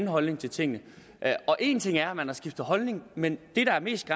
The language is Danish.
holdning til tingene en ting er at skifte holdning men det der er mest